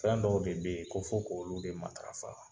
Fɛn dɔw de bɛ ye ko fo k'olu dɛ matarafa.